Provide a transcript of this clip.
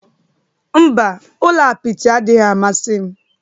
Mba, ụlọ apịtị adịghị amasị m